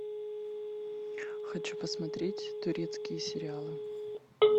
хочу посмотреть турецкие сериалы